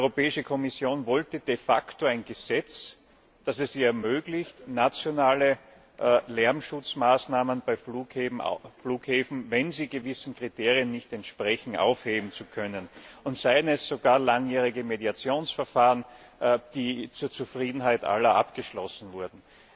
Die Europäische Kommission wollte de facto ein Gesetz, das es ihr ermöglicht, nationale Lärmschutzmaßnahmen für Flughäfen, wenn sie gewissen Kriterien nicht entsprechen, aufheben zu können, und sei es nach langjährigen Mediationsverfahren, die zur Zufriedenheit aller abgeschlossen wurden.